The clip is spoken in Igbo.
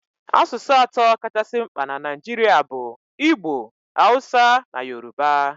Asụsụ atọ kachasị mkpa na Naijiria bụ Igbo, Hausa na Yoruba.